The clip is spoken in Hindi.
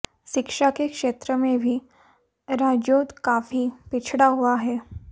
शिक्षा के क्षेत्र में भी राजौंद काफी पिछड़ा हुआ है